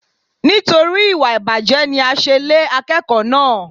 Nítorí ìwà ìbàjẹ́ ni a ṣe lé akẹ́kọ̀ọ́ náà.